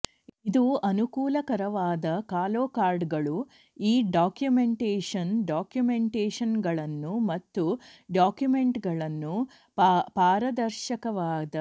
ಇದು ಅನುಕೂಲಕರವಾದ ಕಾಲೋಕಾರ್ಡರ್ಗಳು ಈ ಡಾಕ್ಯುಮೆಂಟೇಶನ್ ಡಾಕ್ಯುಮೆಂಟೇಶನ್ಗಳನ್ನು ಮತ್ತು ಡಾಕ್ಯುಮೆಂಟ್ಗಳನ್ನು ಪಾರದರ್ಶಕವಾದ ಪಾರದರ್ಶಕವಾದ ಪಾರದರ್ಶಕವಾದ ಪಾರದರ್ಶಕ ಸಾಧನಗಳನ್ನು ಒಳಗೊಂಡಿದೆ